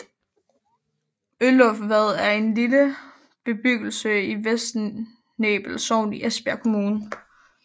Ølufvad er en lille bebyggelse i Vester Nebel Sogn i Esbjerg Kommune